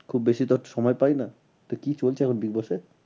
খুব বেশি তো সময় পাই না। তো কি চলছে এখন big boss এ?